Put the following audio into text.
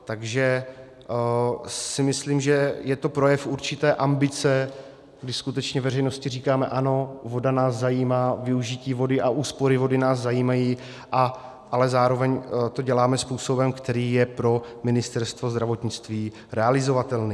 Takže si myslím, že je to projev určité ambice, kdy skutečně veřejnosti říkáme ano, voda nás zajímá, využití vody a úspory vody nás zajímají, ale zároveň to děláme způsobem, který je pro Ministerstvo zdravotnictví realizovatelný.